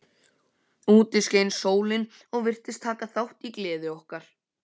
Úti skein sólin og virtist taka þátt í gleði okkar.